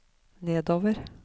nedover